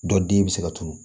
Dɔ den be se ka turu